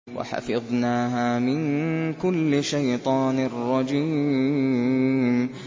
وَحَفِظْنَاهَا مِن كُلِّ شَيْطَانٍ رَّجِيمٍ